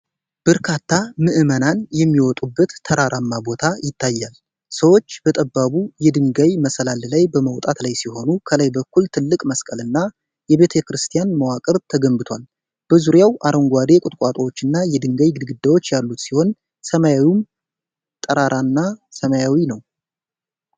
በርካታ ምዕመናን የሚወጡበት ተራራማ ቦታ ይታያል። ሰዎች በጠባቡ የድንጋይ መሰላል ላይ በመውጣት ላይ ሲሆኑ፣ ከላይ በኩል ትልቅ መስቀል እና የቤተክርስቲያን መዋቅር ተገንብቷል። በዙሪያው አረንጓዴ ቁጥቋጦዎችና የድንጋይ ግድግዳዎች ያሉት ሲሆን፣ ሰማዩም ጠራራና ሰማያዊ ነው።